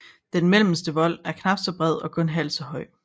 Den mellemste vold er knapt så bred og kun halvt så høj